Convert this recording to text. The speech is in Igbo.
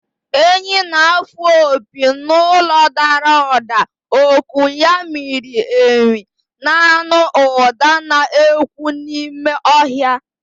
Enyí na-afụ opi n’olu dara ụda, oku ya miri emi, na-anụ ụda na-ekwu n’ime ọhịa.